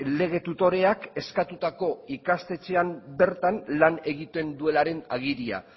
lege tutoreak eskatutako ikastetxeak bertan lan egiten duelaren agiria